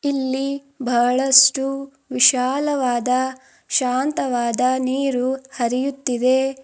ಇಲ್ಲಿ ಬಹಳಷ್ಟು ವಿಶಾಲವಾದ ಶಾಂತವಾದ ನೀರು ಹರಿಯುತ್ತಿದೆ.